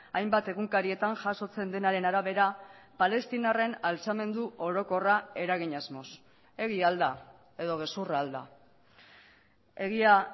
hainbat egunkarietan jasotzen denaren arabera palestinarren altxamendu orokorra eragin asmoz egia al da edo gezurra al da egia